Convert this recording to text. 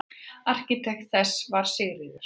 Arkitekt þess var Sigríður